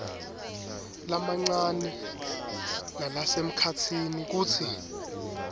lamancane nalasemkhatsini kutsi